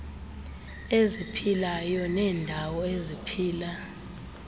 eziphilayo neendawo eziphila